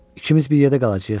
İkimiz bir yerdə qalacağıq, hə?